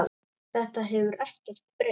Þetta hefur ekkert breyst.